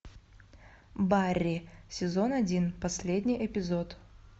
барри сезон один последний эпизод